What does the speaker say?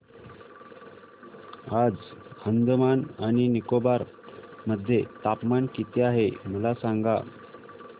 आज अंदमान आणि निकोबार मध्ये तापमान किती आहे मला सांगा